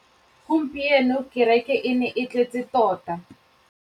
Gompieno kêrêkê e ne e tletse tota.